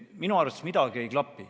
Minu arust siin midagi ei klapi.